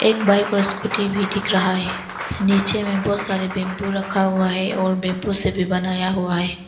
एक बाइक और स्कूटी भी दिख रहा है नीचे में बहुत सारे बम्बू रखा हुआ है और बम्बू से भी बनाया हुआ है।